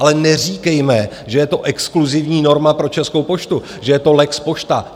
Ale neříkejme, že je to exkluzivní norma pro Českou poštu, že je to lex Pošta.